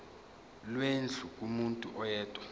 lwendlu kumuntu oyedwa